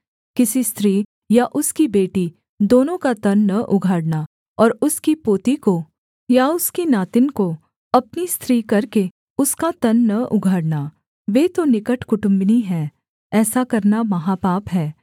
किसी स्त्री और उसकी बेटी दोनों का तन न उघाड़ना और उसकी पोती को या उसकी नातिन को अपनी स्त्री करके उसका तन न उघाड़ना वे तो निकट कुटुम्बिनी है ऐसा करना महापाप है